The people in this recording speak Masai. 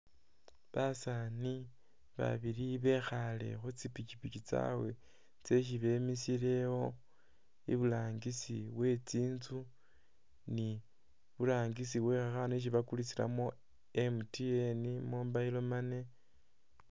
Basaani babili bekhaale khu tsipipiki tsabwe tsesi bemisile ewo, iburangisi we tsinzu ni iburangisi we khakhanu isi bakulisilamu MTN mobile money.